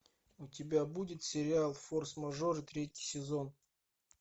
у тебя будет сериал форс мажоры третий сезон